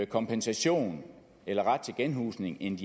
kompensation eller ret til genhusning end